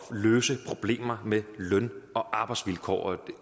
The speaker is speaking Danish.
at løse problemet med løn og arbejdsvilkår